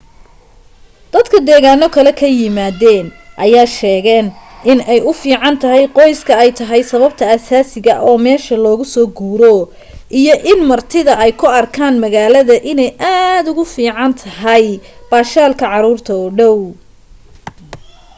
dadka deegaano kale ka yimaadeen ayaa sheegaan in u ficnaanta qoyska ay tahay sababta aasaasiga oo meesha loogu soo guuro iyo in martida ay u arkaan magaalada inay aad ugu fiicaan tahay baashaalka caruurta oo dhaw